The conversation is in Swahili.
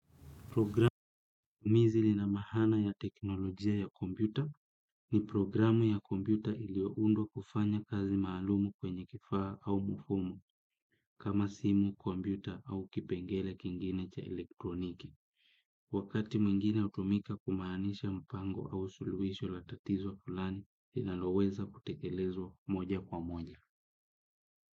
Programu mizili ina maana ya teknolojia ya komputa ni programu ya kompuyta iliyoundwa kufanya kazi maalumu kwenye kifaa au mfumo kama simu, komputa au kipengele kingine cha elektroniki. Wakati mwingine hutumika kumaanisha mpango au suluhisho la tatizo fulani, lonaloweza kutekelezwa moja kwa moja.